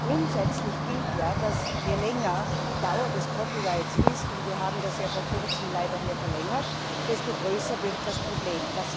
Grundsätzlich gilt ja, dass, je länger die Dauer des ist wir haben das vor kurzem leider verlängert desto größer wird das Problem.